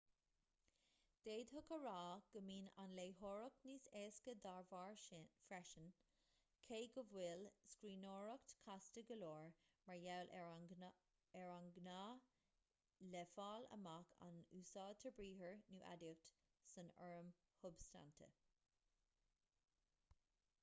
d'fhéadfadh a rá go mbíonn an léitheoireacht níos éasca dá bharr freisin cé go bhfuil an scríbhneoireacht casta go leor mar gheall ar an ngá le fáil amach an úsáidtear briathar nó aidiacht san fhoirm shubstainte